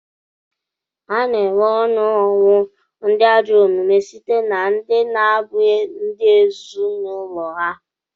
A na-enwe onu ọnwụ ndị ajọ omume site na ndị na-abụghị ndị ezinụlọ ha.